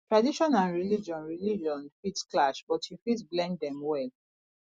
tradition and religion religion fit clash but you fit blend dem well